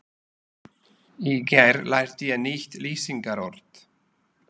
Í gær lærði ég nýtt lýsingarorð.